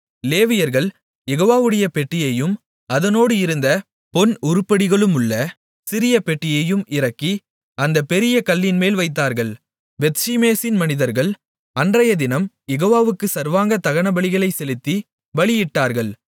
லேவியர்கள் யெகோவாவுடைய பெட்டியையும் அதனோடு இருந்த பொன் உருப்படிகளுள்ள சிறிய பெட்டியையும் இறக்கி அந்தப் பெரிய கல்லின்மேல் வைத்தார்கள் பெத்ஷிமேசின் மனிதர்கள் அன்றையதினம் யெகோவாவுக்குச் சர்வாங்கதகனங்களைச் செலுத்திப் பலிகளையிட்டார்கள்